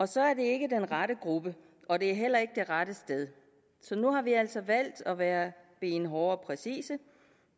så er det ikke den rette gruppe og det er heller ikke det rette sted så nu har vi altså valgt at være benhårde og præcise